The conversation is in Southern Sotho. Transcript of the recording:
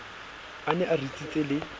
a ne a ritsitse le